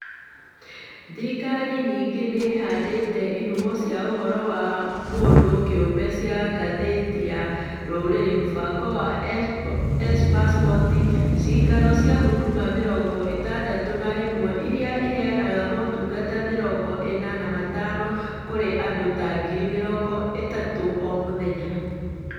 Thirikari ningĩ nĩ ĩhandĩte ihumo cia ũhoro wa mũndũ kĩũmbe cia Ngathĩti ya rũrĩrĩ mũbango wa e-passport, Ciikaro cia Huduma mĩrongo ĩtatũ na ĩmwe iria ĩheanaga motungata mĩrongo ĩna na matano kũrĩ andũ ta ngiri mĩrongo ĩtatũ o mũthenya.